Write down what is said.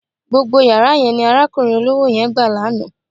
Gbogbo yàrá yẹn ni arákùnrin olówó yẹn gbà lánàá.